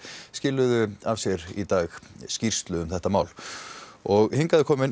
skiluðu af sér í dag skýrslu um málið og hingað er kominn